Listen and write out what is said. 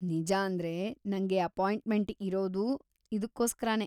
ನಿಜಾಂದ್ರೆ, ನಂಗೆ ಅಪಾಯಿಂಟ್ಮೆಂಟ್‌ ಇರೋದು ಇದ್ಕೋಸ್ಕರನೇ.